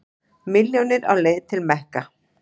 Milljónir á leið til Mekka